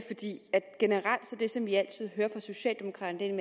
det som vi altid hører fra socialdemokraterne en